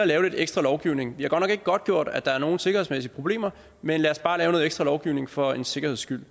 lidt ekstra lovgivning det er godt nok ikke godtgjort at der er nogen sikkerhedsmæssige problemer men lad os bare lave noget ekstra lovgivning for en sikkerheds skyld